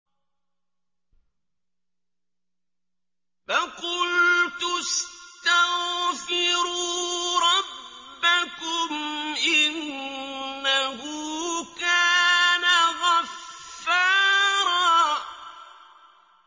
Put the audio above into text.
فَقُلْتُ اسْتَغْفِرُوا رَبَّكُمْ إِنَّهُ كَانَ غَفَّارًا